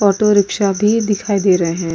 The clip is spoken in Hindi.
ऑटो रिक्शा भी दिखाई दे रहे हैं।